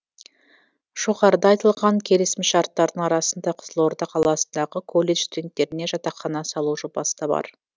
жоғарыда айтылған келісімшарттардың арасында қызылорда қаласындағы колледж студенттеріне жатақхана салу жобасы да бар